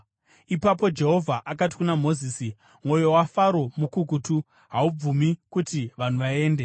Ipapo Jehovha akati kuna Mozisi, “Mwoyo waFaro mukukutu; haabvumi kuti vanhu vaende.